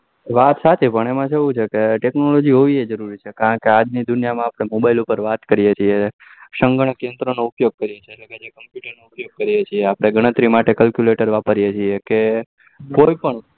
વાત સાચી પણ એમાં કેવું છે કે technology હોવી જોઈએ જરૂરી છે કારણકે આજ ની દુનિયા mobile માં ઉપર વાત કરી એ છીએ સગન કેન્દ્ર નો ઉપયોગ કરીએ છીએ કે જે computer આપડે ઘણતરી માટે calculator વાપરીએ છીએ કે કોઈ પણ